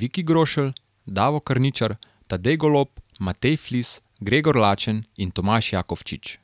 Viki Grošelj, Davo Karničar, Tadej Golob, Matej Flis, Gregor Lačen in Tomaž Jakofčič.